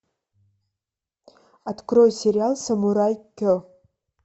открой сериал самурай ке